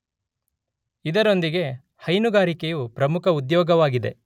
ಇದರೊಂದಿಗೆ ಹೈನುಗಾರಿಕೆಯು ಪ್ರಮುಖ ಉದ್ಯೋಗವಾಗಿದೆ.